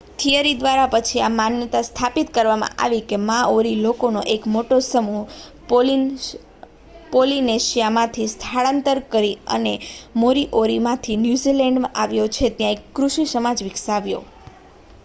theory દ્વારા પછી આ માન્યતા સ્થાપિત કરવામાં આવી કે માઓરી લોકોનો એક મોટો સમૂહ પોલિનેશિયામાંથી સ્થળાંતર કરી અને મોરીઓરીમાંથી ન્યૂઝીલેન્ડમાં આવ્યો અને ત્યાં એક કૃષિ સમાજ વિકસાવ્યો